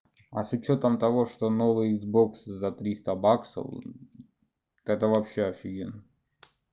а с учётом того что новый икс бокс за триста баксов так это вообще офигенно